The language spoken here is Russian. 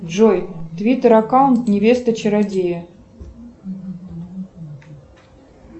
джой твиттер аккаунт невеста чародея